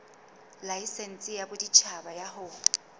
laesense ya boditjhaba ya ho